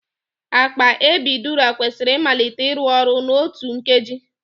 Akpa epiidura kwesịrị ịmalite ịrụ ọrụ n'otu nkeji.